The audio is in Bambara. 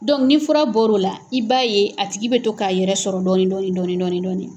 nin fura bɔr'o la i b'a ye a tigi bɛ to k'a yɛrɛ sɔrɔ dɔɔni dɔɔni dɔɔni dɔɔni.